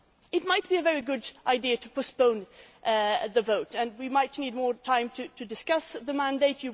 It might be a very good idea to postpone the vote and we might need more time to discuss the mandate.